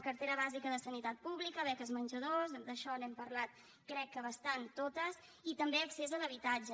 cartera bàsica de sanitat pública beques menjador d’això n’hem parlat crec que bastant totes i també accés a l’habitatge